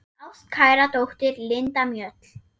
Þín ástkæra dóttir, Linda Mjöll.